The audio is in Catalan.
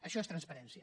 això és transparència